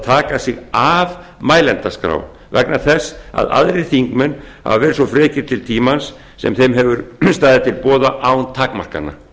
taka sig af mælendaskrá vegna þess að aðrir þingmenn hafa verið svo frekir til tímans sem þeim hefur staðið til boða án takmarkana